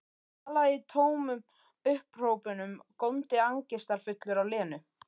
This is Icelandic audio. Talaði í tómum upphrópunum, góndi angistarfullur á Lenu.